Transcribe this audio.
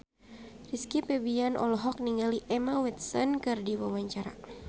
Rizky Febian olohok ningali Emma Watson keur diwawancara